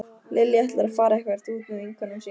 Lilja ætlar að fara eitthvert út með vinkonum sínum